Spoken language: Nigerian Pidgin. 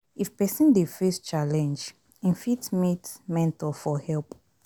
If person dey face challenge im fit meet mentor for help